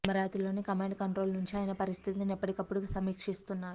అమరావతిలోని command control నుంచి ఆయన పరిస్థితిని ఎప్పటి కప్పుడు సమీక్షిస్తున్నారు